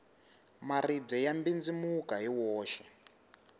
maribye ya mbindzimuka hi woxe